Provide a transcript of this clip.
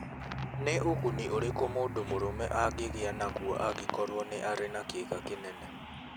Nĩ ũguni ũrĩkũ mũndũ mũrũme angĩgĩa naguo angĩkorũo nĩ arĩ na kĩiga kĩnene?